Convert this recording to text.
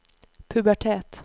pubertet